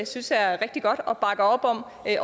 synes er rigtig godt og bakker op om